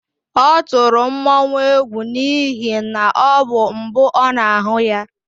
Ọ tụrụ mmọnwụ egwu n'ihi na ọ bụ mbụ ọ na-ahụ ya.